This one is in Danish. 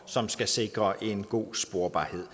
som skal sikre en god sporbarhed